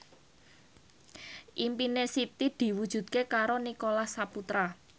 impine Siti diwujudke karo Nicholas Saputra